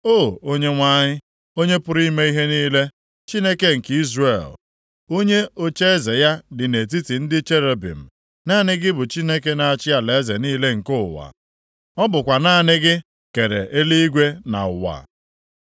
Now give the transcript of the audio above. “O, Onyenwe anyị, Onye pụrụ ime ihe niile, Chineke nke Izrel, onye ocheeze ya dị nʼetiti ndị cherubim, naanị gị bụ Chineke na-achị alaeze niile nke ụwa. Ọ bụkwa naanị gị kere eluigwe na ụwa.